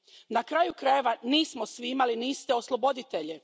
Na kraju krajeva, nismo svi imali ni iste osloboditelje.